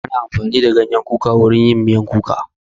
Ana amfani da ganyen kuka wurin yin miyan kuka